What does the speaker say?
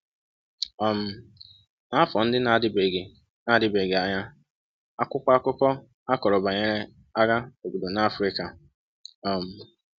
um N’afọ ndị na-adịbeghị na-adịbeghị anya, akwụkwọ akụkọ akọrọ banyere agha obodo na Africa. um